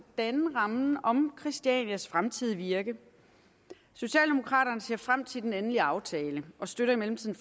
danne rammen om christianias fremtidige virke socialdemokraternes ser frem til den endelige aftale og støtter i mellemtiden